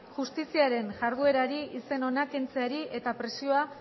justiziaren jarduerari izen ona kentzeari eta presioa